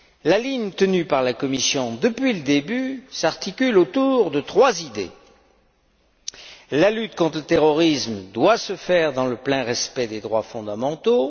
La ligne tenue par la Commission depuis le début s'articule autour de trois idées premièrement, la lutte contre le terrorisme doit se faire dans le plein respect des droits fondamentaux